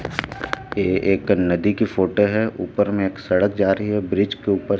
ये एक नदी की फोटो है ऊपर में एक सड़क जा रही है ब्रिज के ऊपर--